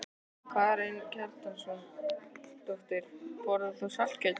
Karen Kjartansdóttir: Borðar þú saltkjöt?